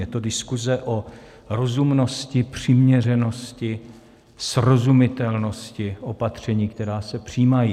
Je to diskuze o rozumnosti, přiměřenosti, srozumitelnosti opatření, která se přijímají.